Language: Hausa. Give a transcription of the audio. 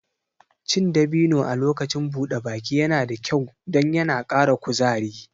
Cin dabino a lokacin buɗe baki yana da kyau don yana ƙara kuzari